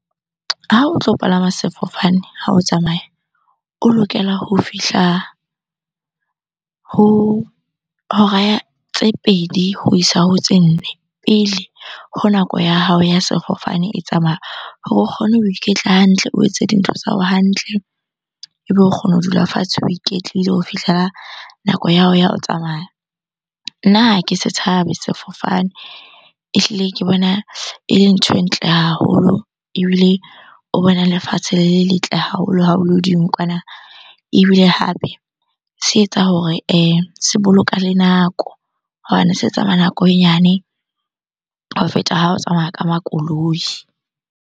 Ha o tlo palama sefofane ha o tsamaya, o lokela ho fihla ho hora ya, tse pedi ho isa ho tse nne pele ho nako ya hao ya sefofane e tsamaya. Hore o kgone ho iketla hantle, o etse dintho tsa hao hantle ebe o kgona ho dula fatshe o iketlile ho fihlela nako ya hao ya o tsamaya. Nna ha ke se tshabe sefofane, ehlile ke bona ele ntho e ntle haholo ebile o bona lefatshe le le letle haholo ha o le hodimo kwana. Ebile hape se etsa hore se boloka le nako hobane se tsamaya nako e nyane ho feta ha o tsamaya ka makoloi.